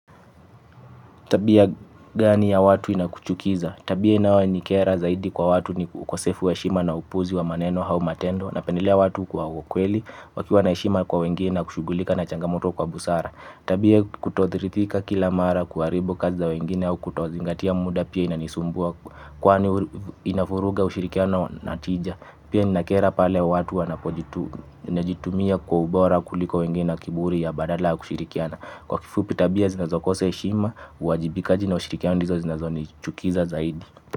Tabia gani ya watu inakuchukiza. Tabia inaonikera zaidi kwa watu ni ukosefu wa heshima na upuzi wa maneno au matendo napendelea watu kwa ukweli wakiwa na heshima kwa wengine na kushughulika na changamoto kwa busara. Tabia kutoridhika kila mara kuharibu kazi za wengine au kutozingatia muda pia inanisumbua kwani inavuruga ushirikiano na tija. Pia inakera pale wa watu wanapojitumia kwa ubora kuliko wengine na kiburi ya badala ya kushirikiana. Kwa kifupi tabia zinazokosa heshima, uwajibikaji na ushirikiano ndizo zinazonichukiza zaidi.